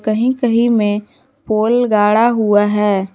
कहीं कहीं में पोल गाड़ा हुआ है।